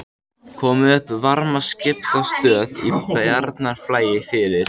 Komið upp varmaskiptastöð í Bjarnarflagi fyrir